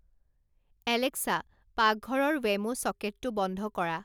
Alexa পাকঘৰৰ Wemo চকেটটো বন্ধ কৰা